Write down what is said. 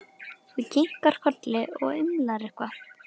Þú kinkar kolli og umlar eitthvað.